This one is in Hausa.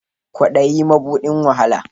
Kwaɗayi ma buɗin wahala